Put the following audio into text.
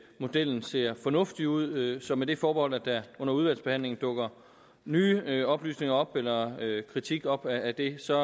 modellen ser fornuftig ud så med det forbehold at der under udvalgsbehandlingen dukker nye nye oplysninger eller kritik op af det ser